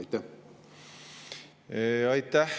Aitäh!